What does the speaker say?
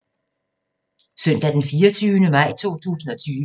Søndag d. 24. maj 2020